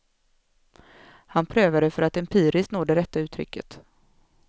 Han prövade för att empiriskt nå det rätta uttrycket.